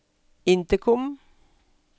intercom